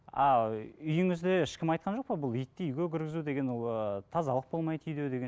а ы үйіңізде ешкім айтқан жоқ па бұл итті үйге кіргізу деген ол ыыы тазалық болмайды үйде деген